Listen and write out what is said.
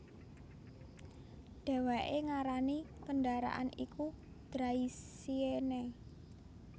Dhèwèké ngarani kendaraané iku Draisienne